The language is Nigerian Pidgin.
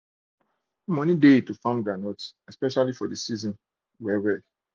to farm groundnut get money for dey season well well